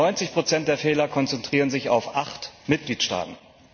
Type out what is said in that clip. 90 der Fehler konzentrieren sich auf acht Mitgliedstaaten.